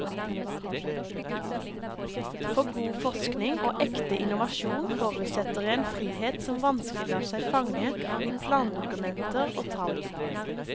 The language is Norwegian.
For god forskning og ekte innovasjon forutsetter en frihet som vanskelig lar seg fange i plandokumenter og tall.